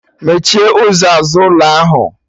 Mechie ụzọ azụ ụlọ ahụ!